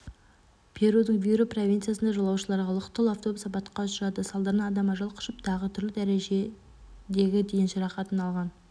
перудің виру провинциясында жолаушыларға лық толы автобус апатқа ұшырады салдарынан адам ажал құшып тағы түрлі дәрежедегі дене жарақатын алған